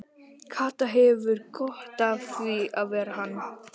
Kata hefur gott af því að vera hann.